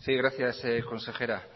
sí gracias consejera